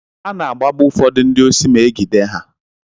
Ana-agbagbu ụfọdụ ndị osi ma e gide ha.